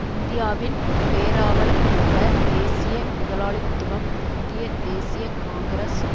இந்தியாவின் பேராவல் கொண்ட தேசிய முதலாளித்துவம் இந்திய தேசிய காங்கிரஸ்